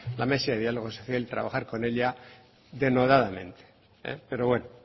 la mesa de diálogo social y trabajar con ella denodadamente pero bueno